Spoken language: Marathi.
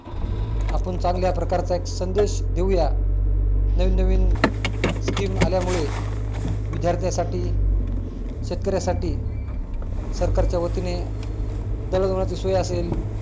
आपण चांगल्या प्रकारचा एक संदेश देऊया नवीन-नवीन scheme आल्यामुळे विद्यार्थ्यांसाठी शेतकऱ्यासाठी सरकारच्या वतीने दळण वळणाची सोया असेल